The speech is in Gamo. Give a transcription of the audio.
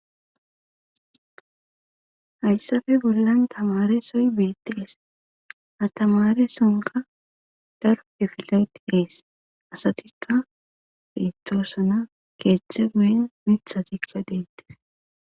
Hayssape bollan tamresoy beetees. ha tamaresonkka daro kifle beetees. asatikka beetosona keeththay guyen miththatikka deetees.